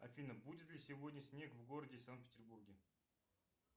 афина будет ли сегодня снег в городе санкт петербурге